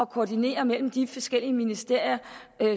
koordinere mellem de forskellige ministerier